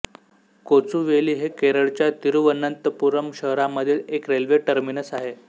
कोचुवेली हे केरळच्या तिरुवनंतपुरम शहरामधील एक रेल्वे टर्मिनस आहे